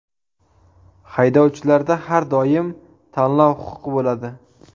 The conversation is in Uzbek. Haydovchilarda har doim tanlov huquqi bo‘ladi.